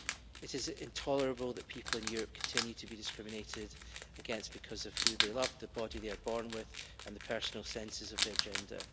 It is intolerable that people in Europe continue to be discriminated against because of who they love, the body they are born with, and their personal sense of their gender.